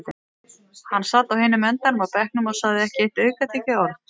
Hann sat á hinum endanum á bekknum og sagði ekki aukatekið orð.